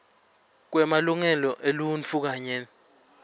kwemalungelo eluntfu kanye